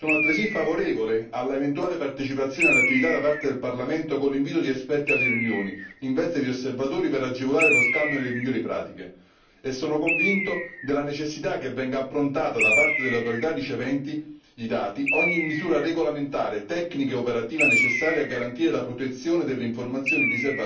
Sono altresì favorevole all'eventuale partecipazione alle attività da parte del Parlamento, con l'invito di esperti alle riunioni in veste di osservatori per agevolare lo scambio delle migliori pratiche, e sono convinto della necessità che venga approntata, da parte delle autorità riceventi i dati, ogni misura regolamentare, tecnica e operativa necessaria a garantire la protezione delle informazioni riservate in questione.